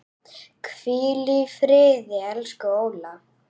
Hvíl í friði, elsku Óla.